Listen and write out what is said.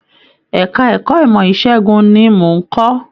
Ẹka ẹ̀kọ́ ìmọ ìṣẹgun ní mò n kọ.